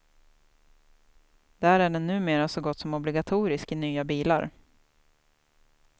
Där är den numera så gott som obligatorisk i nya bilar.